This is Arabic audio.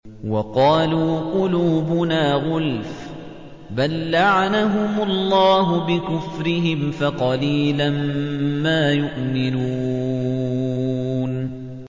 وَقَالُوا قُلُوبُنَا غُلْفٌ ۚ بَل لَّعَنَهُمُ اللَّهُ بِكُفْرِهِمْ فَقَلِيلًا مَّا يُؤْمِنُونَ